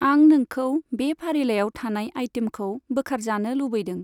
आं नोंखौ बे फारिलाइआव थानाय आइटेमखौ बोखारजानो लुबैदों।